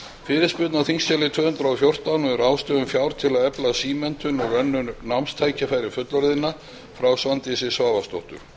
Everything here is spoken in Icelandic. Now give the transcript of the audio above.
fyrirspurn á þingskjali tvö hundruð og fjórtán um ráðstöfun fjár til að efla símenntun og önnur námstækifæri fullorðinna frá svandísi svavarsdóttur